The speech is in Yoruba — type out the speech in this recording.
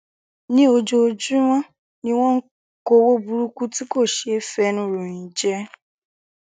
ní ojoojúmọ ni wọn ń kọwọ burúkú tí kò ṣeé fẹnu ròyìn jẹ